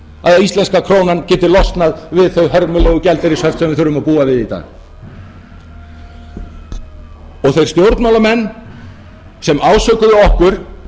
að íslenska krónan geti losnað við þau hörmulegu gjaldeyrishöft sem við þurfum að búa við í dag og þeir stjórnmálamenn sem ásökuðu okkur